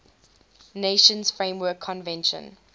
nations framework convention